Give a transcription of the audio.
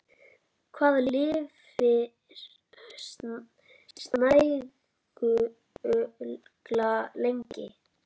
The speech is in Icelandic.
Hvað lifir snæugla lengi?